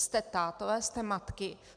Jste tátové, jste matky.